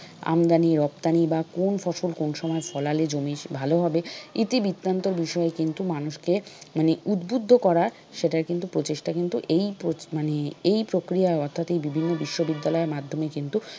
আমদানি-রপ্তানি বা কোন ফসল কোন সময় ফলালে জমি ভালো হবে ইতিবৃত্তান্তের বিষয় কিন্তু মানুষকে মানে উদ্বুদ্ধ করা সেটার কিন্তু প্রচেষ্টা কিন্তু এই মানে এই প্রক্রিয়ায় অর্থাৎ এই বিভিন্ন বিশ্ববিদ্যালইয়ের মাধ্যমে কিন্তু